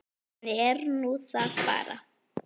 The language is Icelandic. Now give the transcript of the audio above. Þannig er nú það bara.